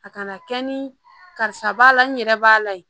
A kana kɛ ni karisa b'a la n yɛrɛ b'a la ye